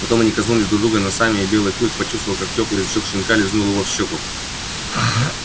потом они коснулись друг друга носами и белый клык почувствовал как тёплый язычок щенка лизнул его в щёку